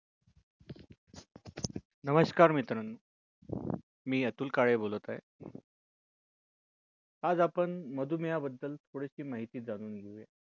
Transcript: नमस्कार मित्रांनो मी अतुल काळे बोलत आहे आज आपण मधून या बद्दल थोडी माहिती जाणून घेऊ